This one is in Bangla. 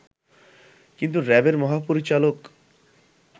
কিন্তু র‍্যাবের মহাপরিচালক